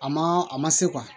A ma a ma se